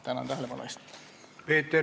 Tänan tähelepanu eest!